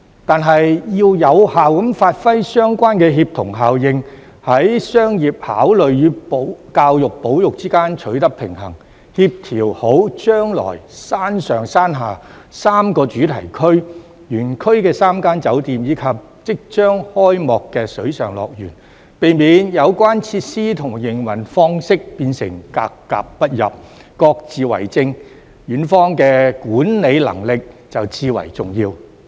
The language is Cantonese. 但是，要有效地發揮相關的協同效應，在商業考慮與教育保育之間取得平衡，妥善協調將來山上山下3個主題區、園區的3間酒店，以及即將開幕的水上樂園，避免有關設施和營運方式變成格格不入、各自為政，園方的管理能力就至為重要。